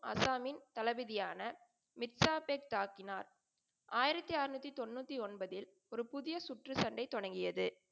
அசாமின் தளபதியான மித்ரா பெட் தாக்கினார். ஆயிரத்தி அறநூத்தி தொண்ணூத்தி ஒன்பதில் ஒரு புதிய சுற்று சண்டை தொடங்கியது.